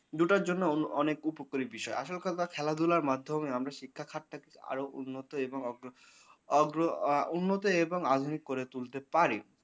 দুটোর জন্য অন্য অনেক উপকারী বিষয় আসলে কথা খেলাধুলার মাধ্যমে আমরা শিক্ষা খাত টাকে আরও উন্নত এবং অগ্র আ উন্নতি এবং আধুনিক করে তুলতে পারি।